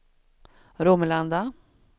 Romelanda